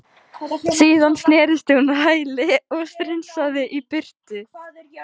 Síðan snerist hún á hæli og strunsaði í burtu.